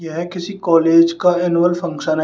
यह किसी कॉलेज का एनुअल फंक्शन है।